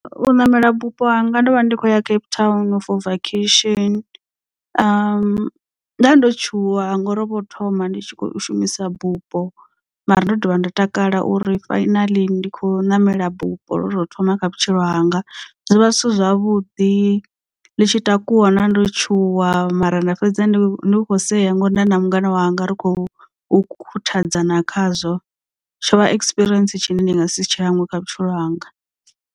U ṋamela bupho hanga ndo vha ndi khou ya cape town for vacation. Nda ndo tshuwa ngori ho vho hu thoma ndi tshi kho shumisa bupo mara ndo dovha nda takala uri fainaḽi ndi khou ṋamela bufho lwo to thoma kha vhutshilo hanga zwovha zwithu zwavhuḓi ḽi tshi takuwa ndo tshuwa mara nda fhedza ndi kho seya ngori nda na mungana wanga ri khou khuthadzana khazwo tshovha experience tshine ndi nga si tshi hangwe kha vhutshilo hanga.